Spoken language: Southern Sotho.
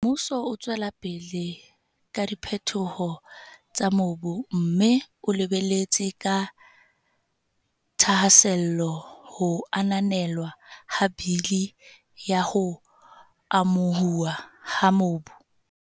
Mmuso o tswela pele ka diphetoho tsa mobu mme o lebeletse ka thahasello ho ananelwa ha Bili ya ho Amo huwa ha Mobu.